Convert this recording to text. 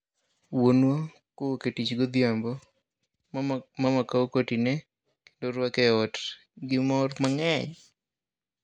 Wuonwa kowuok e tich godhiambo, mama kao koti ne, kendo rwake e ot gi mor mang'eny